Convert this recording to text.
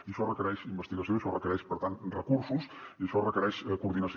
i això requereix investigació i això requereix per tant recursos i això requereix coordinació